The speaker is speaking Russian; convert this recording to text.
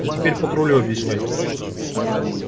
а я теперь патрулю объясняй